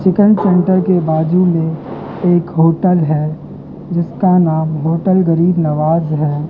Chicken centre के बाज़ू में एक होटल है जिसका नाम होटल गरीब नवाज है।